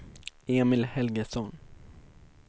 Emil Helgesson